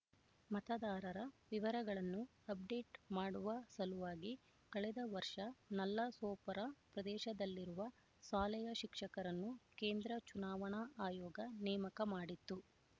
ಮತದಾರರ ವಿವರಗಳನ್ನು ಅಪ್‌ಡೇಟ್ ಮಾಡುವ ಸಲುವಾಗಿ ಕಳೆದ ವರ್ಷ ನಲ್ಲಸೋಪರ ಪ್ರದೇಶದಲ್ಲಿರುವ ಶಾಲೆಯ ಶಿಕ್ಷಕರನ್ನು ಕೇಂದ್ರ ಚುನಾವಣಾ ಆಯೋಗ ನೇಮಕ ಮಾಡಿತ್ತು